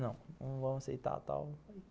Não, não vão aceitar tal.